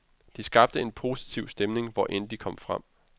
De skabte en positiv stemning hvor end de kom frem.